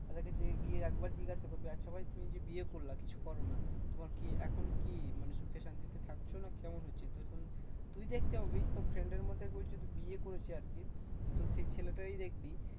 তাদের কাছে গিয়ে একবার জিজ্ঞাসা করবি? আচ্ছা ভাই তুমি যে বিয়ে করলা কিছু করোনা। তোমার কি? এখন কি? মানে সুখে শান্তিতে থাকছো না কেমন হচ্ছে তুই শোন্। তুই দেখতে পাবি তোর friend এর মধ্যে যদি কেউ বিয়ে করেছে আরকি তো সেই ছেলেটাই দেখবি